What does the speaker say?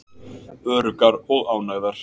Öruggar og ánægðar.